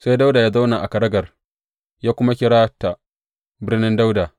Sai Dawuda ya zauna a kagarar, ya kuma kira ta Birnin Dawuda.